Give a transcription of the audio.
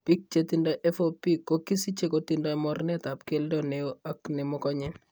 Biik che tindo FOP ko kisiche kotindo moorneetap keldo ne oo ak nemokonye.